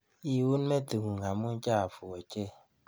Iun metit ng'ung' amu chafu ochei.